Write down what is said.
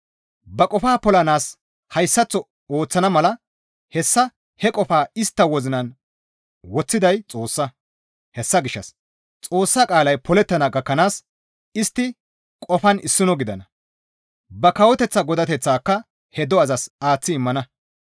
Ba qofaa polanaas hayssaththo ooththana mala hessa he qofaa istta wozinan woththiday Xoossa; hessa gishshas Xoossa qaalay polettana gakkanaas istti qofan issino gidana; ba kawoteththa godateththaaka he do7azas aaththi immana.